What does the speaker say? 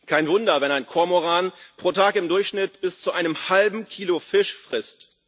Kein Wunder, wenn ein Kormoran pro Tag im Durchschnitt bis zu einem halben Kilo Fisch frisst.